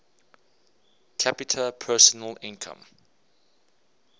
capita personal income